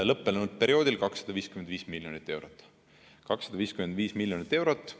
Lõppenud perioodil oli 255 miljonit eurot.